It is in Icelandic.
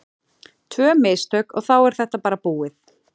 Tvö mistök og þá er þetta bara búið.